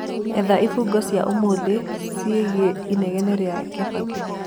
etha ifungo cĩa ũmũthĩ ciĩgie inegene riigie kibaki